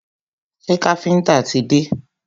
Ṣé káfíńńtà ti dé?